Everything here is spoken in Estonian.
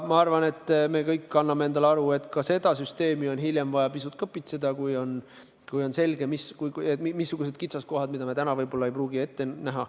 Ma arvan, et me kõik anname endale aru, et ka seda süsteemi on hiljem vaja pisut kõpitseda, kui on ilmnenud kitsaskohad, mida me täna ei pruugi ette näha.